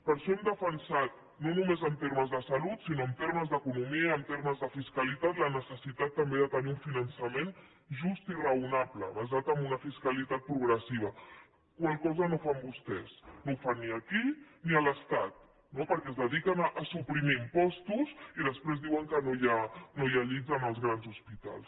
per això hem defensat no només en termes de salut sinó en termes d’economia i en termes de fiscalitat la necessitat també de tenir un finançament just i raonable basat en una fiscalitat progressiva la qual cosa no fan vostès no ho fan ni aquí ni a l’estat no perquè es dediquen a suprimir impostos i després diuen que no hi ha llits en els grans hospitals